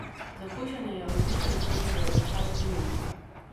Za hujšanje je odličen ingverjev čaj z limono.